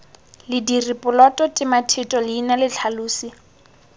lediri poloto tematheto leina letlhalosi